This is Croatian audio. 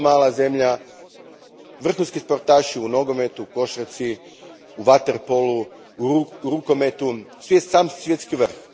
Vrlo mala zemlja, vrhunski sportaši u nogometu, košarci, vaterpolu i rukometu, sve sam svjetski vrh.